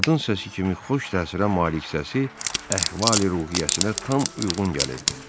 Qadın səsi kimi xoş təsirə malik səsi əhvali-ruhiyyəsinə tam uyğun gəlirdi.